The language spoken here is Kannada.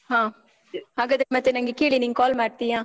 ಹಾ ಹಾಗಾದ್ರೆ ಮತ್ತೇ ಕೇಳಿ ನಂಗೆ ನೀನ್ call ಮಾಡ್ತಿಯಾ?